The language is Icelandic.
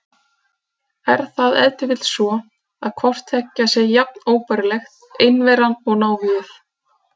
Er það ef til vill svo, að hvort tveggja sé jafn óbærilegt, einveran og návígið?